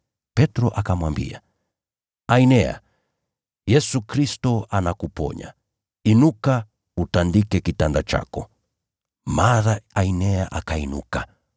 Petro akamwambia, “Ainea, Yesu Kristo anakuponya, inuka utandike kitanda chako.” Mara Ainea akainuka.